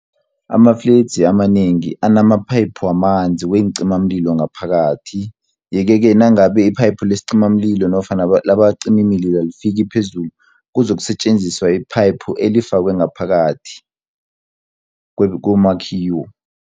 Amafledzi amanengi anamaphayiphu wamanzi weencimamlilo ngaphakathi, yeke-ke nangabe iphayiphu lesicimamlilo nofana labacimimililo alifiki phezulu kuzokusetjenziswa iphayiphu elifakwe ngaphakathi komakhiwo.